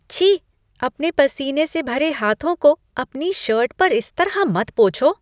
छी! अपने पसीने से भरे हाथों को अपनी शर्ट पर इस तरह मत पोछो।